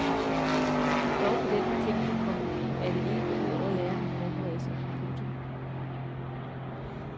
Dog på den betingelse, komma at det ikke går ud over lærernes forberedelse. punktum